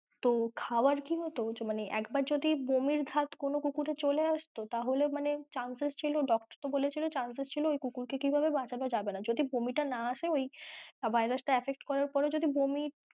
তো খাওয়ার কি হতো মানে একবার যদি বমির ধাত কোনো কুকুরের চলে আসতো তাহলে মানে chances ছিল doctor বলেছিল ওই কুকুর কে কীভাবে বাঁচানো যাবে না যদি বমি টা না আসে ওই virus তা affect করার পর যদি বমি,